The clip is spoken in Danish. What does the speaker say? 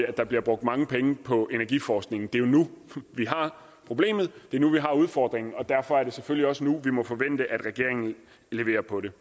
at der bliver brugt mange penge på energiforskningen det er jo nu vi har problemet det er nu vi har udfordringen derfor er det selvfølgelig også nu vi må forvente at regeringen leverer på det